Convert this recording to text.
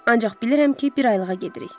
Ancaq bilirəm ki, bir aylığa gedirik.